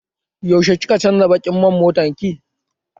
Yaushe kika canza baƙin man motar ki?